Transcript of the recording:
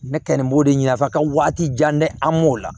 Ne kɛlen b'o de ɲɛnafa ka waati jan kɛ an m'o la